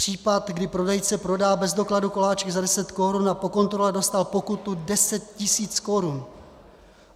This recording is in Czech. Případ, kdy prodejce prodal bez dokladu koláčky za 10 korun a po kontrole dostal pokutu 10 tisíc korun.